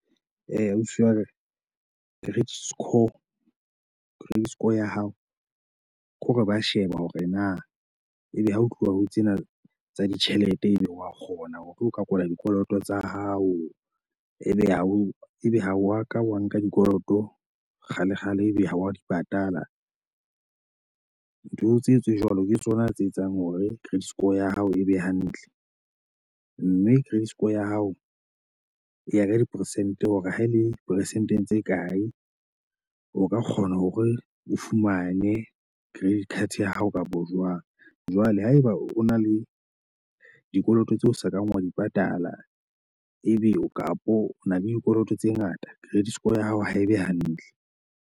Eh, ausi wa ka. Credit score credit score ya hao ke hore ba sheba hore na ebe ha ho tluwa ho tsena tsa ditjhelete, ebe wa kgona hore o ka kwala dikoloto tsa hao. Ebe ha o ebe ha wa ka wa nka dikoloto kgalekgale, ebe ha wa di patala. Ntho tseo tse jwalo ke tsona tse etsang hore credit score ya hao e be hantle. Mme credit score ya hao e ya ka ya diperesente hore ha e le peresente tse kae, o ka kgona hore o fumane credit card ya hao kapo jwang. Jwale haeba o na le dikoloto tseo o sa kang wa di patala, ebe kapo o na le dikoloto tse ngata credit score ya hao ha e be hantle.